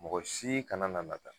Mɔgɔ si kana na nata